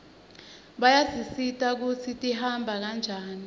bayasisita kutsi tihambe kahle